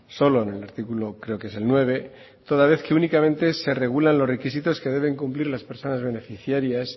solo en el artículo creo que es el nueve toda vez que únicamente se regulan los requisitos que deben cumplir las personas beneficiarias